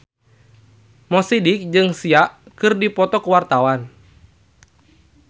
Mo Sidik jeung Sia keur dipoto ku wartawan